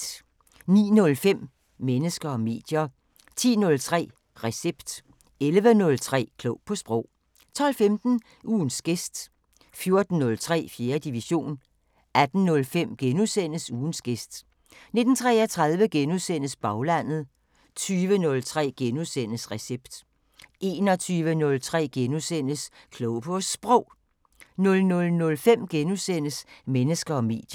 09:05: Mennesker og medier 10:03: Recept 11:03: Klog på Sprog 12:15: Ugens gæst 14:03: 4. division 18:05: Ugens gæst * 19:33: Baglandet * 20:03: Recept * 21:03: Klog på Sprog * 00:05: Mennesker og medier *